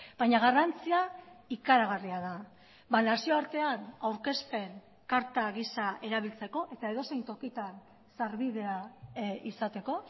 baina garrantzia ikaragarria da nazioartean aurkezpen karta gisa erabiltzeko eta edozein tokitan sarbidea izateko